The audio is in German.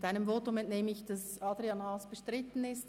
Ihrem Votum entnehme ich, dass Adrian Haas bestritten ist.